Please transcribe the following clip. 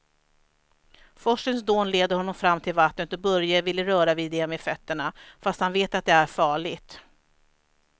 Forsens dån leder honom fram till vattnet och Börje vill röra vid det med fötterna, fast han vet att det är farligt.